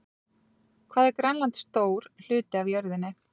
Hvað er Grænland stór hluti af jörðinni?